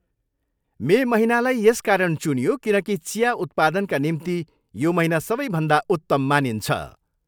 मे महिनालाई यसकारण चुनियो, किनकि चिया उत्पादनका निम्ति यो महिना सबैभन्दा उत्तम मानिन्छ।